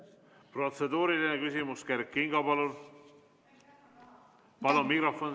Protseduuriline küsimus, Kert Kingo, palun!